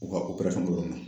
O ka operasɔnkɛyɔrɔ in na